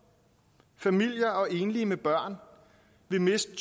familier og enlige med børn vil miste